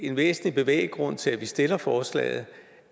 en væsentlig bevæggrund til at vi stiller forslaget